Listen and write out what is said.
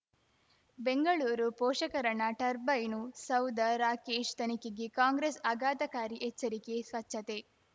ಬೆಂಗಳೂರು ಪೋಷಕಋಣ ಟರ್ಬೈನು ಸೌಧ ರಾಕೇಶ್ ತನಿಖೆಗೆ ಕಾಂಗ್ರೆಸ್ ಆಘಾತಕಾರಿ ಎಚ್ಚರಿಕೆ ಸ್ವಚ್ಛತೆ